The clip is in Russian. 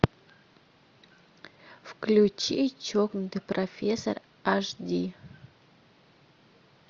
включи чокнутый профессор аш ди